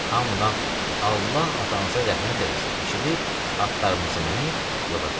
Hamıdan "Allah atanıza rəhmət eləsin" eşidib atlarımızı minib yola düşdük.